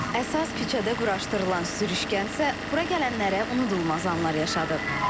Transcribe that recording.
Əsas küçədə quraşdırılan sürüşkənsə bura gələnlərə unudulmaz anlar yaşadıb.